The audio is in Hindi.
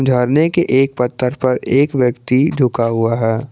झरने के एक पत्थर पर एक व्यक्ति झुका हुआ है।